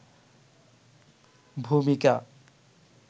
ভূমিকা